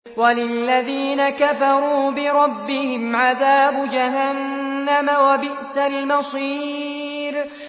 وَلِلَّذِينَ كَفَرُوا بِرَبِّهِمْ عَذَابُ جَهَنَّمَ ۖ وَبِئْسَ الْمَصِيرُ